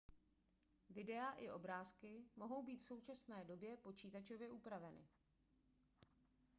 videa i obrázky mohou být v současné době počítačově upraveny